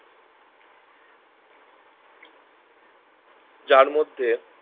যার মধ্যে